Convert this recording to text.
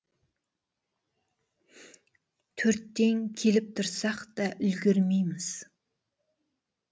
төрттен келіп тұрсақ та үлгермейміз